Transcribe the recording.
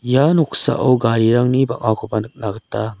ia noksao garirangni bang·akoba nikna gita man--